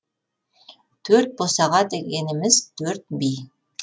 төрт босаға дегеніміз төрт би